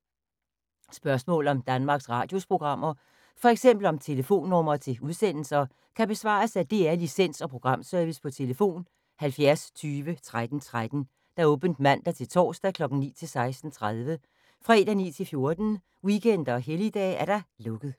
Spørgsmål om Danmarks Radios programmer, f.eks. om telefonnumre til udsendelser, kan besvares af DR Licens- og Programservice: tlf. 70 20 13 13, åbent mandag-torsdag 9.00-16.30, fredag 9.00-14.00, weekender og helligdage: lukket.